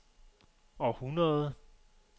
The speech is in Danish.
århundrede